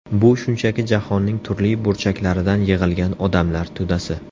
Bu shunchaki jahonning turli burchaklaridan yig‘ilgan odamlar to‘dasi.